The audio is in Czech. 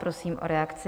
Prosím o reakci.